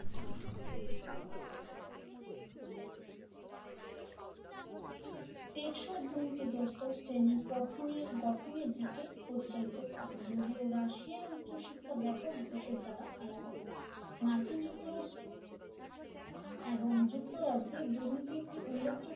টেকসো দুর্নীতিগ্রস্ত শ্রেণি গঠনের দিকে পরিচালিত করে যদিও রাশিয়ায় ব্যাপক ঘুষের দ্বারা আলাদা মার্কিন যুক্তরাষ্ট্র এবং যুক্তরাজ্যে দুর্নীতি একটি উল্লেখযোগ্য